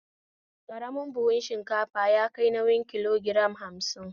Karamin buhu shinkafa yakai nauyin kilo giram hamsin